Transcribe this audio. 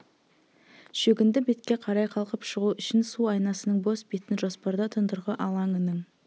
шөгінді бетке қарай қалқып шығу үшін су айнасының бос бетін жоспарда тұндырғы алаңының